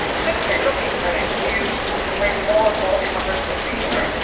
It is simply looking for an excuse to bring more and more immigrants into Europe.